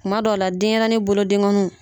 Kuma dɔw la denɲɛrɛnin bolo dengonuw